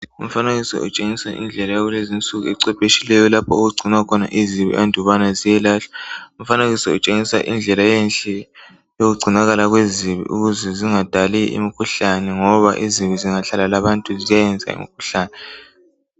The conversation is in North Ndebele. Umfanekiso utshengisa indlela yakulezi nsuku ecephetshileyo lapho okugcinwa khona izibi andubana ziyelahlwa. Umfanekiso kutshengisa indlela enhle yokugcinakala kwezibi ukuze zingadali imikhuhlane ngoba izibi zingahlala labantu ziyayenza imikhuhlane.